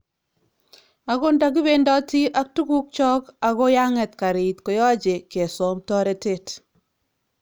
Akot nda kibendoti ak tukuk chok ako yang'et karit koyache kesom toretet.